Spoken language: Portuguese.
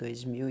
dois mil e